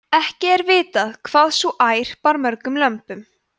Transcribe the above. ekki er vitað hvað sú ær bar mörgum lömbum